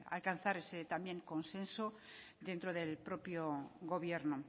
alcanzar ese también consenso dentro del propio gobierno